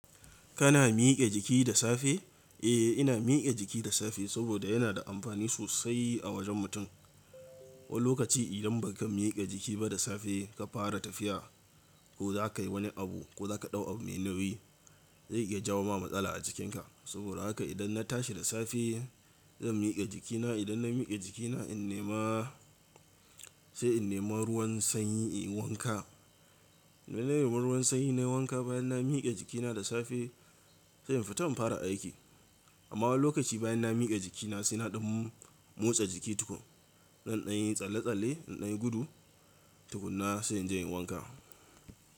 Kana miƙe jiki da safe? Eh, ina miƙe jiki da safe saboda yana da amfani sosai a wajen mutum. Wani lokaci idan baka miƙe jiki ba da safe ka fara tafiya ko za ka yi wani abu ko za ka ɗau abu mai nauyi, zai iya jawo ma matsala a jikinka. Saboda haka idan na tashi da safe, zan miƙe jikina. Idan na miƙe jikina, in nema sai in nema ruwan sanyi in yi wanka. Idan na nemi ruwan sanyi na yi wanka bayan na miƙe jikina da safe, sai in fita in fara aiki. Amma wani lokaci bayan na miƙe jikina sai na ɗau motsa jiki tuƙun. Zan ɗan yi tsalle-tsalle, na ɗan yi gudu tuƙuna sai in je in yi wanka.